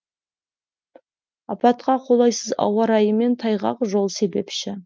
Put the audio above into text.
апатқа қолайсыз ауа райы мен тайғақ жол себепші